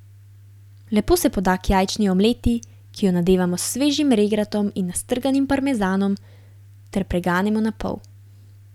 Lepo se poda k jajčni omleti, ki jo nadevamo s svežim regratom in nastrganim parmezanom ter preganemo na pol.